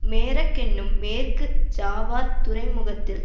Merak என்னும் மேற்கு ஜாவாத் துறைமுகத்தில்